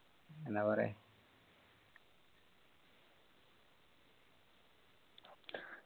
എന്ന പറയ്